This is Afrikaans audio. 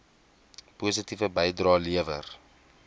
positiewe bydrae lewer